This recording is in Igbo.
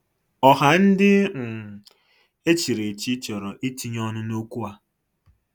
Ọha ndị um echiri echi chọrọ itinye ọnụ N'okwụ a.